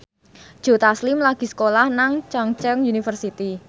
Joe Taslim lagi sekolah nang Chungceong University